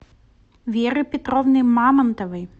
веры петровны мамонтовой